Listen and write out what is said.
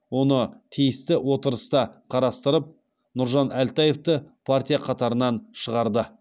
оны тиісті отырыста қарастырып нұржан әлтаевты партия қатарынан шығарды